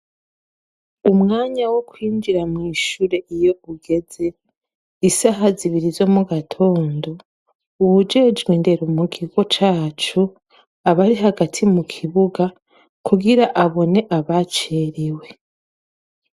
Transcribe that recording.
Umwanya wo kwinjira mw'ishure iyo ugeze isaha zibiri zo mu gatondo uwujejwe ndera mu gigo cacu abari hagati mu kibuga kugira abone abacerewe.